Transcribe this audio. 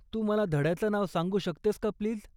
तू मला धड्याचं नाव सांगू शकतेस का प्लीज?